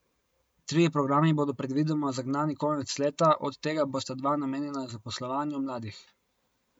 Trije programi bodo predvidoma zagnani konec leta, od tega bosta dva namenjena zaposlovanju mladih.